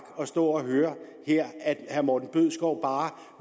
at stå og høre her at herre morten bødskov bare